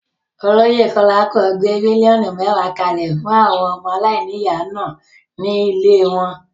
Olóyè Kolapo gbé míllíọ̀nù mẹ́wàá kalẹ̀ fún àwọn ọmọ aláìníyà náà ní ilée wọn.